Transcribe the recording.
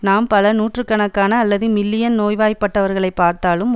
நாம் பல நூறாயிர கணக்கான அல்லது மில்லியன் நோய்வாய்ப்பட்டவர்களை பார்த்தாலும்